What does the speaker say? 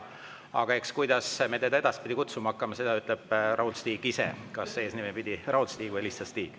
Aga kuidas me teda edaspidi kutsuma hakkame, seda ütleb Raul-Stig ise, kas Raul-Stig või lihtsalt Stig.